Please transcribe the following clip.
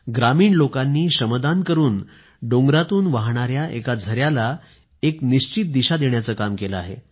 ग्रामीण लोकांनी श्रमदान करून पहाडातून वाहणाऱ्या एका झऱ्याला एक निश्चित दिशा देण्याचे काम केले आहे